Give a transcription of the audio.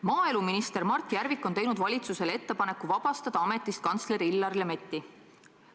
Maaeluminister Mart Järvik on teinud valitsusele ettepaneku vabastada ametist kantsler Illar Lemetti.